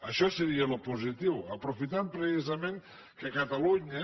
això seria el positiu aprofitant precisament que catalunya